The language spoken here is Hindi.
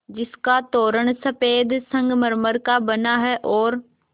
जिसका तोरण सफ़ेद संगमरमर का बना है और